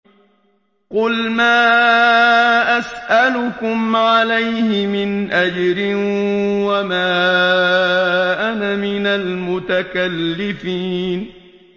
قُلْ مَا أَسْأَلُكُمْ عَلَيْهِ مِنْ أَجْرٍ وَمَا أَنَا مِنَ الْمُتَكَلِّفِينَ